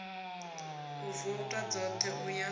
u vouta dzoṱhe u ya